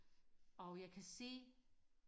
og jeg kan se